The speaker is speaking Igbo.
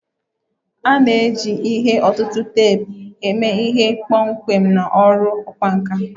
A na-eji ihe ọ̀tụ̀tụ̀ teepu eme ihe kpọmkwem na ọrụ ọkwá nkà